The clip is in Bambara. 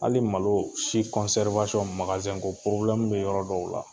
Hali malo si magazɛn ko bɛ yɔrɔ dɔw la.